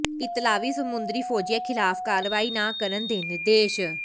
ਇਤਾਲਵੀ ਸਮੁੰਦਰੀ ਫੌਜੀਆਂ ਖਿਲਾਫ਼ ਕਾਰਵਾਈ ਨਾ ਕਰਨ ਦੇ ਨਿਰਦੇਸ਼